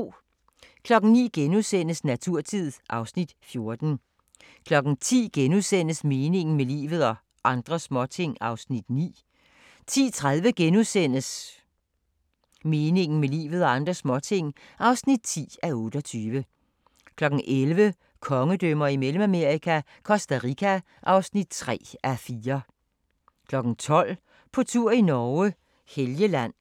09:00: Naturtid (Afs. 14)* 10:00: Meningen med livet – og andre småting (9:28)* 10:30: Meningen med livet – og andre småting (10:28)* 11:00: Kongedømmer i Mellemamerika – Costa Rica (3:4) 12:00: På tur i Norge: Helgeland